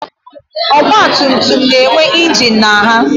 Ọgbatumtum na-enwe ingin na ha